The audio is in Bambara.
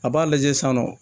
A b'a lajɛ saɔ